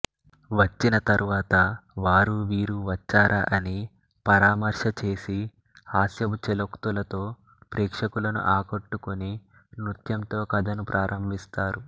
వచ్చిన తరువాత వారూ వీరూ వచ్చారా అని పరామర్శ చేసి హాస్యపు ఛలోక్తులతో ప్రేక్షకులను ఆకట్టుకుని నృత్యంతో కథను ప్రారంభిస్తారు